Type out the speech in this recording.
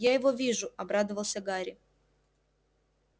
я его вижу обрадовался гарри